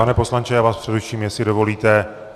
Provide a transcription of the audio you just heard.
Pane poslanče, já vás přeruším, jestli dovolíte.